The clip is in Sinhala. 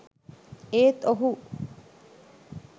ඒත් ඔහු